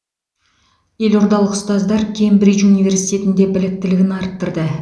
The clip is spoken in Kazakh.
елордалық ұстаздар кембридж университетінде біліктілігін арттырды